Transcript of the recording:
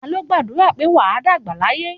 Ta ló gbàdúrà pé "wà á dàgbà láyé"?